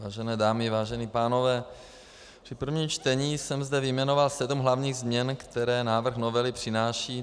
Vážené dámy, vážení pánové, při prvním čtení jsem zde vyjmenoval sedm hlavních změn, které návrh novely přináší.